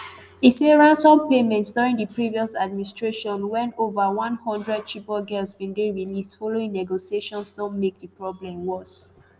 e say ransom payments during di previous administration wen over one hundred chibok girls bin dey released following negotiations don make di problem worse.